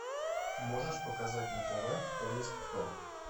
можешь показать на тв кто есть кто